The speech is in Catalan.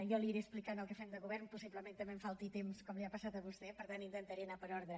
jo li aniré explicant el que fem des del govern possiblement també em falti temps com li ha passat a vostè per tant intentaré anar per ordre